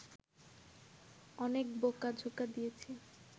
অনেক বোকা-ঝোকা দিয়েছি